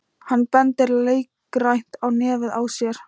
Hann bendir leikrænt á nefið á sér.